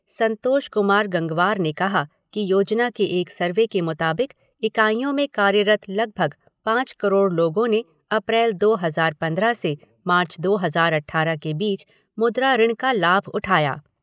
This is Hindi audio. संतोष कुमार गंगवार ने कहा कि योजना के एक सर्वे के मुताबिक इकाइयों में कार्यरत लगभग पाँच करोड़ लोगों ने अप्रैल दो हजार पंद्रह से मार्च दो हजार अठारह के बीच मुद्रा ऋण का लाभ उठाया।